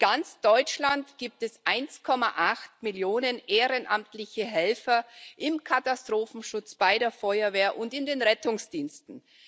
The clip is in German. In ganz Deutschland gibt es 1,8 Millionen ehrenamtliche Helfer im Katastrophenschutz, bei der Feuerwehr und in den Rettungsdiensten.